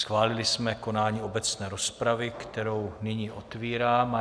Schválili jsme konání obecné rozpravy, kterou nyní otevírám.